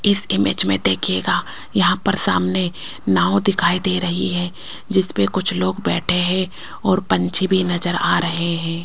इस इमेज में देखियेगा यहां पर सामने नाव दिखाई दे रही है जिस पे कुछ लोग बैठे हैं और पंछी भी नजर आ रहे हैं।